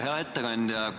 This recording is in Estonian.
Hea ettekandja!